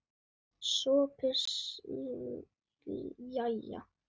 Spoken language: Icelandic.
SOPHUS: Jæja!